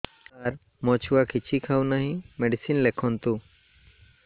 ସାର ମୋ ଛୁଆ କିଛି ଖାଉ ନାହିଁ ମେଡିସିନ ଲେଖନ୍ତୁ